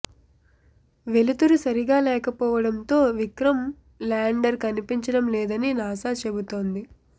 వెలుతురు సరిగా లేకపోవడంతో విక్రమ్ ల్యాండర్ కనిపించడం లేదని నాసా చెబుతోంది